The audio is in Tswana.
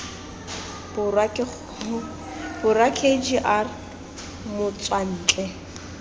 borwa k g r motswantle